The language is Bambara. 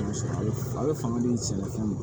A bɛ fanga di sɛnɛfɛn ma